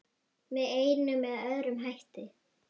Með einum eða öðrum hætti.